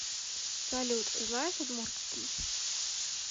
салют знаешь удмуртский